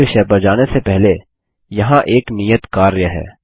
अगले विषय पर जाने से पहले यहाँ एक नियत कार्य है